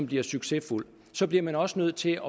blive succesfuld bliver man også nødt til